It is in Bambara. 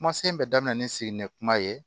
Kumasen bɛɛ daminɛ ni sigini kuma ye